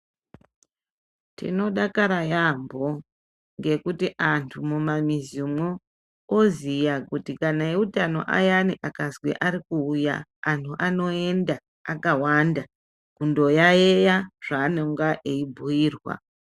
Tinodakara yaambo , ngekuti anthu mumamuzimwo oziya kuti kana eutano ayani akazwi ari kuuya, anthu anoenda akawanda kondoyayeya zvaanonga eibhuirwa.